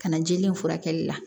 Ka na jeli in furakɛli la